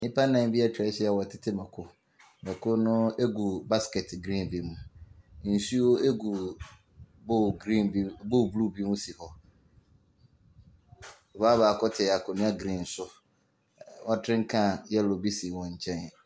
Nnipa nnan bi atwa ahyia a wɔɔtete mako. Mako no ɛgu baskɛt grin bi mu. Nsuo ɛgu bol bluu bi mu si hɔ. Ɔbaa baako te akonnwa grin so. Wɔtren kan yɛlo bi si wɔn nkyɛn.